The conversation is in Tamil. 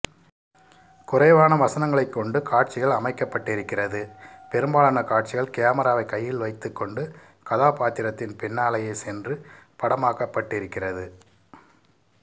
குறைவான வசனங்ளைக் கொண்டு காட்சிகள் அமைக்கப்பட்டிருக்கிறது பெரும்பாலான காட்சிகள் கேமராவை கையில் வைத்துக் கொண்டு கதாபாத்திரத்தின் பின்னாலேயே சென்று படமாக்கப்பட்டிருக்கிறது